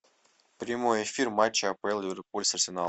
прямой эфир матча апл ливерпуль с арсеналом